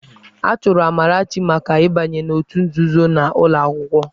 A chụrụ Amarachi maka ịbanye n'òtù nzuzo n'ụlọ akwụkwọ.